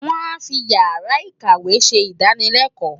Wọ́n á fi Ìyàrá-ìkàwé ṣe ìdánılẹ́kọ̀ọ́.